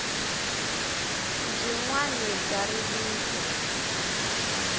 byinwani bya rilisa